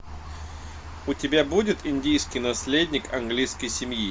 у тебя будет индийский наследник английской семьи